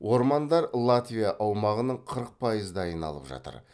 ормандар латвия аумағының қырық пайыздайын алып жатыр